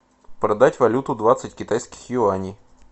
продать валюту двадцать китайских юаней